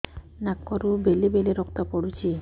ନାକରୁ ବେଳେ ବେଳେ ରକ୍ତ ପଡୁଛି